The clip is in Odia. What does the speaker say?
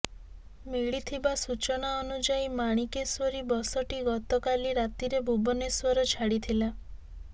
ମିଳିଥିବା ସୂଚନା ଅନୁଯାୟୀ ମାଣିକେଶ୍ୱରୀ ବସଟି ଗତକାଲି ରାତିରେ ଭୁବନେଶ୍ୱର ଛାଡ଼ିଥିଲା